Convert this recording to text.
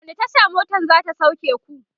wani Tasha motan zata sauke ku?